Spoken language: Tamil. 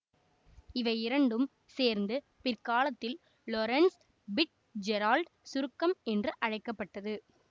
இவை இரண்டும் சேர்ந்து பிற்காலத்தில் லொரன்சு பிட்ஜெரால்டு சுருக்கம் என்று அழைக்க பட்டது